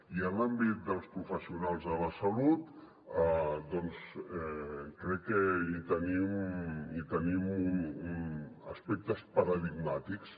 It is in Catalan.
i en l’àmbit dels professionals de la salut doncs crec que tenim aspectes paradigmàtics